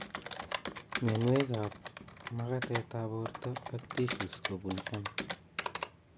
Mionwekab magatetab borto ak tissues kobun M